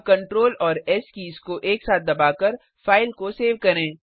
अब कंट्रोल और S keys को एक साथ दबाकर फाइल को सेव करें